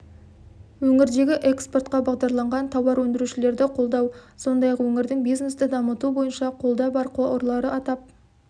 өңірдегі экспортқа бағдарланған тауар өндірушілерді қолдау сондай-ақ өңірдің бизнесті дамыту бойынша қолда бар қорлары атап